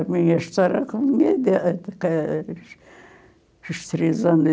A minha história com a minha idade, os três anos de...